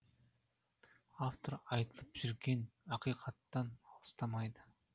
автор айтылып жүрген ақиқаттан алыстамайды